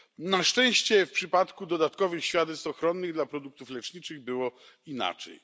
Na szczęście w przypadku dodatkowych świadectw ochronnych dla produktów leczniczych było inaczej.